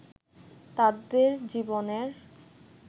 তাদের জীবনের